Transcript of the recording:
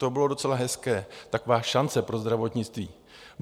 To bylo docela hezké, taková šance pro zdravotnictví.